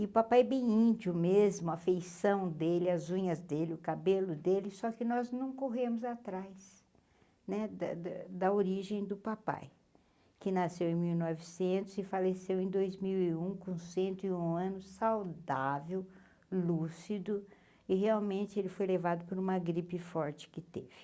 E o papai bem índio mesmo, a feição dele, as unhas dele, o cabelo dele, só que nós não corremos atrás da da da origem do papai, que nasceu em mil e novecentos e faleceu em dois mil e um, com cento e um anos, saudável, lúcido, e realmente ele foi levado por uma gripe forte que teve.